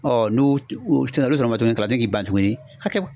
n'u k'i ban tuguni a kɛ